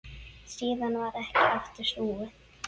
Síðan varð ekki aftur snúið.